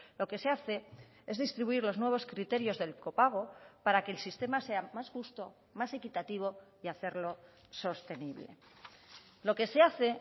lo que se hace es distribuir los nuevos criterios del copago para que el sistema sea más justo más equitativo y hacerlo sostenible lo que se hace